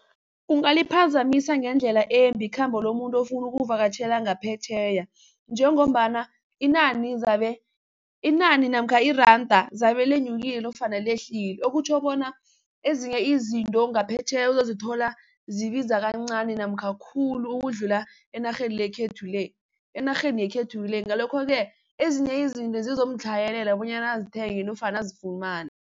Kungaliphazamisa ngendlela embi ikhambo lomuntu ofuna ukuvakatjhela ngaphetjheya, njengombana inani namkha iranda zabe linyukile nofana lehlile okutjho bona ezinye izinto ngaphetjheya uzozithola zibiza kancani namkha khulu ukudlula enarheni yekhethu le, ngalokho-ke ezinye izinto zizomtlhayelela bonyana azithenge nofana azifumane.